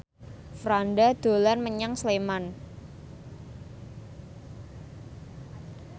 Franda dolan menyang Sleman